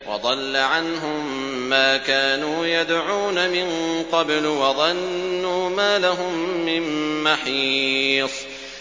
وَضَلَّ عَنْهُم مَّا كَانُوا يَدْعُونَ مِن قَبْلُ ۖ وَظَنُّوا مَا لَهُم مِّن مَّحِيصٍ